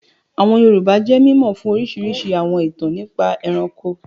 Àwọn Yorùbá jẹ́ mímọ̀ fún orísirísi àwọn ìtàn nípa ẹranko